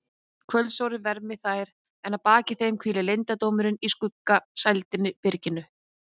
Kvöldsólin vermdi þær en að baki þeim hvíldi leyndardómurinn í skuggsælu byrginu.